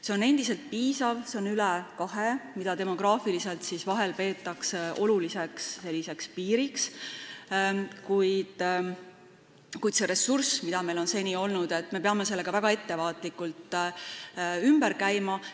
See on endiselt piisav, see on üle 2, mida demograafiliselt peetakse vahel oluliseks piiriks, aga me peame selle ressursiga, mis meil seni on olnud, väga ettevaatlikult ümber käima.